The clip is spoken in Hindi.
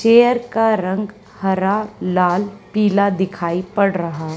चेयर का रंग हरा लाल पीला दिखाई पड़ रहा--